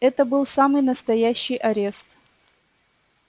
это был самый настоящий арест